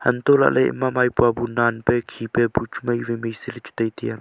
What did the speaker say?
anto lahle maipua bu nanpe khipe bu chu maiwai mai se che tai tiya.